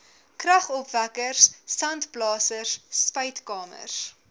kragopwekkers sandblasers spuitkamers